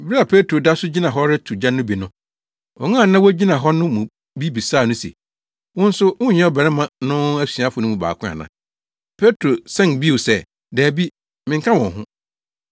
Bere a Petro da so gyina hɔ reto gya no bi no, wɔn a na wogyina hɔ no mu bi bisaa no se, “Wo nso wonyɛ ɔbarima no asuafo no mu baako ana?” Petro san bio sɛ, “Dabi, menka wɔn ho.”